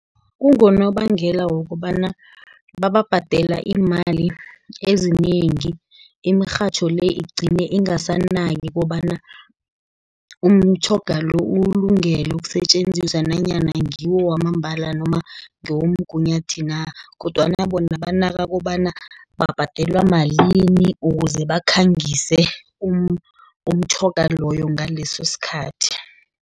Kungonobangela wokobana bababhadela iimali ezinengi, imirhatjho le, igcine ingasanaki kobana umtjhoga lo, uwulungele ukusetjenziswa, nanyana ngiwo wamambala noma ngewomgunyathi na, kodwana bona banaka kobana babhadelwa malini, ukuze bakhangise umtjhoga loyo, ngaleso sikhathi.